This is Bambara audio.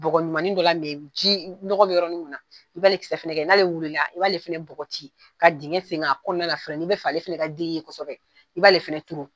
Bɔgɔ ɲumani dɔ la ji, nɔgɔ be yɔrɔ min na, i b'ale kisɛ fɛnɛ kɛ yen, n'ale wilila, i b'ale fɛnɛ bɔgɔci, ka dingɛse ka kɔnɔna lafɛrɛ , n'i b'a fɛ ale fɛnɛ ka den kɛ kosɛbɛ, i b'ale fɛnɛ turu.